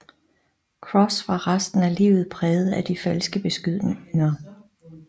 Crosse var resten af livet præget af de falske beskyldninger